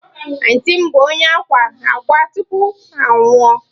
Antịị m bụ onye akwa akwa tupu ọ anwụọ.